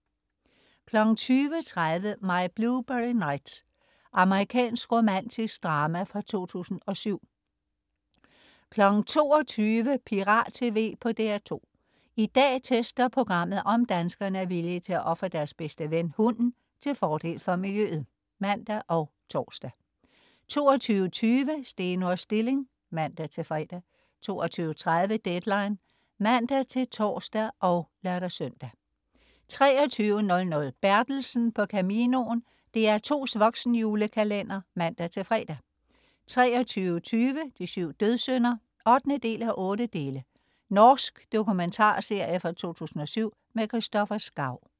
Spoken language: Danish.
20.30 My Blueberry Nights. Amerikansk romantisk drama fra 2007 22.00 Pirat TV på DR2. I dag tester programmet, om danskerne er villige til at ofre deres bedste ven, hunden, til fordel for miljøet (man og tors) 22.20 Steno og Stilling (man-fre) 22.30 Deadline (man-tors og lør-søn) 23.00 Bertelsen på Caminoen. DR2's voksenjulekalender (man-fre) 23.20 De syv dødssynder 8:8. Norsk dokumentarserie fra 2007. Kristopher Schau